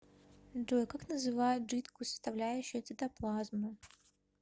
джой как называют жидкую составляющую цитоплазмы